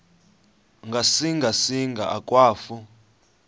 ngasinga singa akwafu